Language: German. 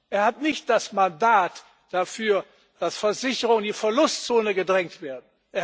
Er hat nicht das Mandat dafür, dass Versicherungen in die Verlustzone gedrängt werden.